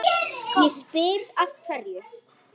Ég spyr af hverju?